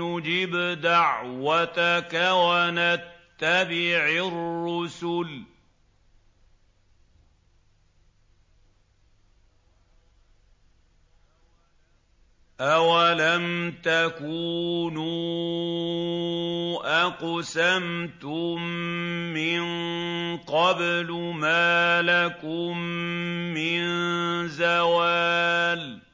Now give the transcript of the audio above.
نُّجِبْ دَعْوَتَكَ وَنَتَّبِعِ الرُّسُلَ ۗ أَوَلَمْ تَكُونُوا أَقْسَمْتُم مِّن قَبْلُ مَا لَكُم مِّن زَوَالٍ